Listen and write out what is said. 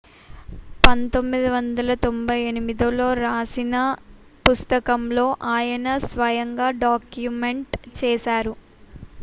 1998లో రాసిన పుస్తకంలో ఆయన స్వయంగా డాక్యుమెంట్ చేశారు